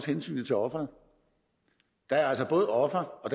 hensynet til ofrene der er altså både offer og